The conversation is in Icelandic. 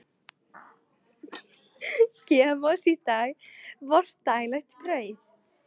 Gef oss í dag vort daglegt brauð.